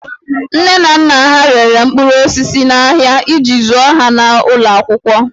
Nne na nna ha rere mkpụrụ osisi n'ahịa iji zụọ ha n'ụlọ akwụkwọ